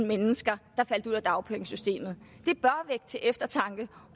mennesker der faldt ud af dagpengesystemet det bør vække til eftertanke